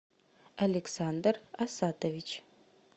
александр асатович